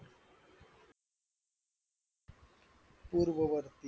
पूर्ववर्ती